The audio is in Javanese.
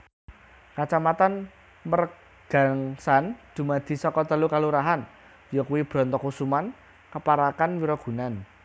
Kacamatan Mergangsan dumadi saka telu kalurahan yakuwi Brontokusuman Keparakan Wirogunan